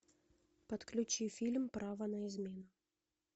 подключи фильм право на измену